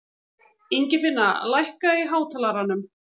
Ingifinna, lækkaðu í hátalaranum.